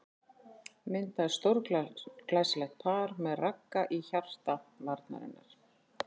Myndaði stórglæsilegt par með Ragga í hjarta varnarinnar.